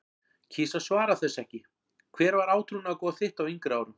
kýs að svara þessu ekki Hver var átrúnaðargoð þitt á yngri árum?